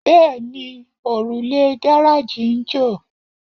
Bẹ́ẹ̀ni, òrùlé gáráàjì ń jò